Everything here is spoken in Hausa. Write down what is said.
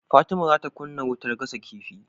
Fatima zata kunna wutar gasa kifi